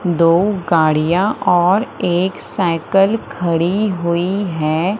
दो गाड़ियां और एक साइकल खड़ी हुई हैं।